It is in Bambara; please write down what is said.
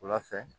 Wula fɛ